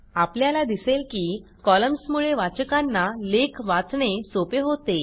आपल्याला दिसेल की कॉलम्समुळे वाचकांना लेख वाचणे सोपे होते